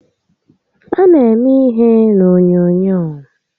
A na eme ihe n'onyoonyoo